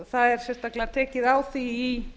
það er sérstaklega tekið á því